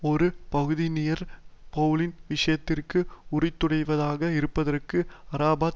ஒரு பகுதியினர் பெளலின் விஷயத்திற்கு உரித்துடையவராக இருப்பதற்கு அரபாத்